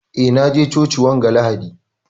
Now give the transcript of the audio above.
Eh, na je cocin wanga lahadi.